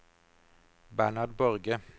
Bernhard Borge